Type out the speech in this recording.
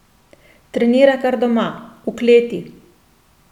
Trenira kar doma, v kleti.